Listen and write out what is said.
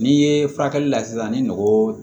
N'i ye furakɛli la sisan ni mɔgɔ